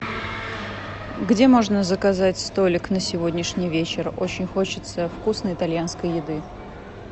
где можно заказать столик на сегодняшний вечер очень хочется вкусной итальянской еды